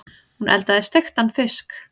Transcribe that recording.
Hún eldaði steiktan fisk.